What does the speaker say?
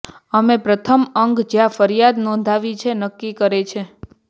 અમે પ્રથમ અંગ જ્યાં ફરિયાદ નોંધાવી છે નક્કી કરે છે